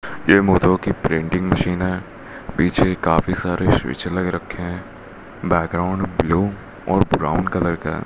ये मोधो की प्रिंटिंग मशीन है पीछे काफी सारे स्विच लग रखे हैं बैकग्राउंड ब्लू और ब्राउन कलर का --